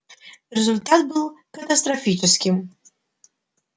результат был катастрофическим